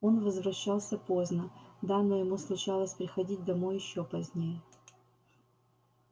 он возвращался поздно да но ему случалось приходить домой ещё позднее